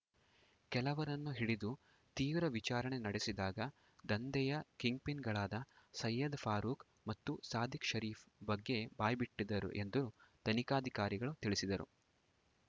ಕೆಲವರನ್ನು ಹಿಡಿದು ತೀವ್ರ ವಿಚಾರಣೆ ನಡೆಸಿದಾಗ ದಂಧೆಯ ಕಿಂಗ್‌ಪಿನ್‌ಗಳಾದ ಸಯ್ಯದ್‌ ಫಾರೂಕ್‌ ಮತ್ತು ಸಾದಿಕ್‌ ಶರೀಫ್‌ ಬಗ್ಗೆ ಬಾಯ್ಬಿಟ್ಟಿದ್ದರು ಎಂದು ತನಿಖಾಧಿಕಾರಿಗಳು ತಿಳಿಸಿದರು